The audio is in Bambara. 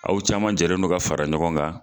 Aw caman jɛlen don ka fara ɲɔgɔn kan.